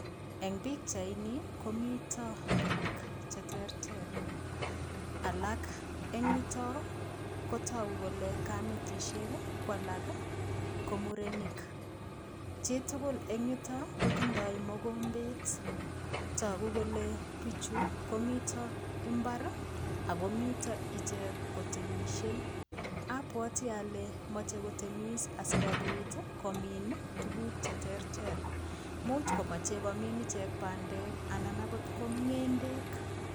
Eng pikchaini komito biik cheterter alak eng yutok kotagu kole kametisiek ko alak ko murenik. Chitugul eng yutok kotindoi mogombet. Tagu kole biichu komi imbar agomito ichek kotemisie. Abwati ale moche kotemis asigopit komin tuguk cheterter. Much komache komin ichek bandek anan agot ko ngendek.